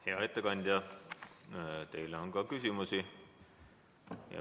Hea ettekandja, teile on ka küsimusi.